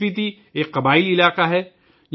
اسپیتی ایک قبائلی علاقہ ہے